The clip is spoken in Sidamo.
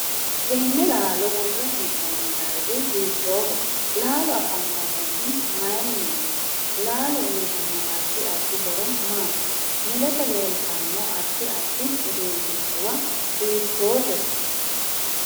Teene laalo worre heenooni dargi hiitooho laalo afantanohu mayiiniti laalo uyiitanno addi addi horo maati mulese leeltanno addi addi uduunichuwa hiitoote